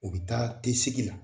U bɛ taa te sigi la